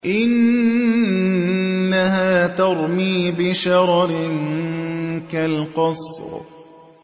إِنَّهَا تَرْمِي بِشَرَرٍ كَالْقَصْرِ